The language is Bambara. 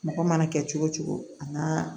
Mɔgɔ mana kɛ cogo o cogo a ka